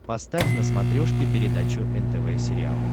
поставь на смотрешке передачу нтв сериал